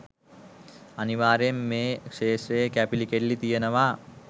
අනිවාර්යයෙන් මේ ක්ෂේත්‍රයේ කැපිලි කෙටිලි තියෙනවා.